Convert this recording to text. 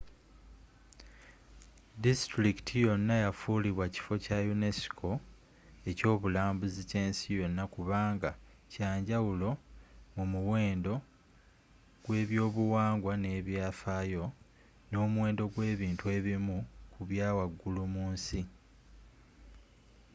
disitulikiti yonna yafulibwa kifo kya unesco ekyobulambuzi kyensi yonna kubanga kya njawulo mu muwendo gw'eby'obuwangwa n'ebyafaayo nomuwendo gw'ebintu by'ebimu kubya waggulu munsi